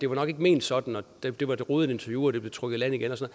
var ment sådan og at det var et rodet interview og at det blev trukket i land igen og